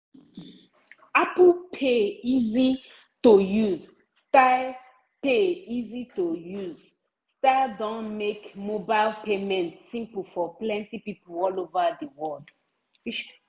apple pay easy-to-use style pay easy-to-use style don make mobile payment simple for plenty people all over the world.